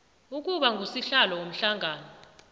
ukuba ngusihlalo womhlangano